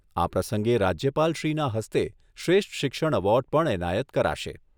આ પ્રસંગે રાજ્યપાલશ્રીના હસ્તે શ્રેષ્ઠ શિક્ષણ એવોર્ડ પણ એનાયત કરાશે.